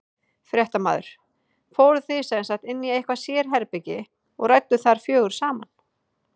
Fréttamaður: Fóruð þið sem sagt inn í eitthvað sérherbergi og rædduð þar fjögur saman?